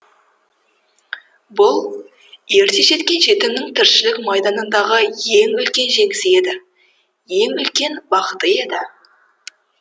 бұл ерте жеткен жетімнің тіршілік майданындағы ең үлкен жеңісі еді ең үлкен бақыты еді